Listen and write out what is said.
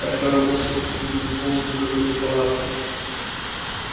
артём рванулся выскользнул и метнулся к выходу из палатки